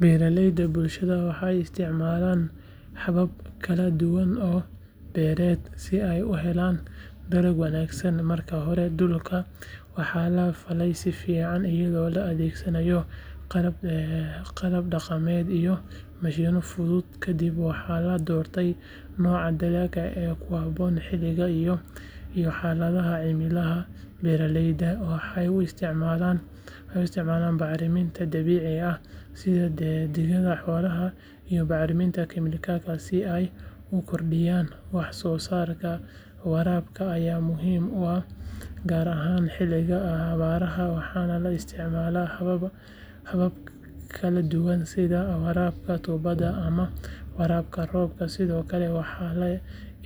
Beeralayda bulshada waxay isticmaalaan habab kala duwan oo beereed si ay u helaan dalag wanaagsan marka hore dhulka waxaa la falay si fiican iyadoo la adeegsanayo qalab dhaqameed iyo mashiinno fudud kadib waxaa la doortaa nooca dalagga ee ku habboon xilliga iyo xaaladda cimilada beeralaydu waxay isticmaalaan bacriminta dabiiciga ah sida digada xoolaha iyo bacriminta kiimikada si ay u kordhiyaan wax soo saarka waraabka ayaa muhiim ah gaar ahaan xilliyada abaaraha waxaana la isticmaalaa habab kala duwan sida waraabka tuubada ama waraabka roobka sidoo kale waxaa la